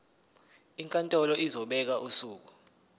inkantolo izobeka usuku